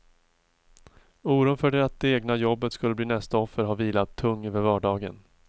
Oron för att det egna jobbet skulle bli nästa offer har vilat tung över vardagen.